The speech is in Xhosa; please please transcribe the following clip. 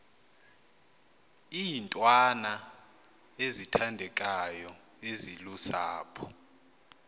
iintwana ezithandekayo ezilusapho